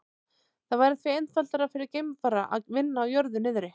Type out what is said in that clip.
Það væri því einfaldara fyrir geimfara að vinna á jörðu niðri.